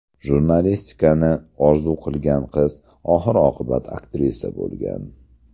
Jurnalistikani orzu qilgan qiz oxir-oqibat aktrisa bo‘lgan.